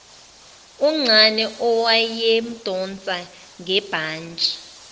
uncane owayemdonsa ngebhantshi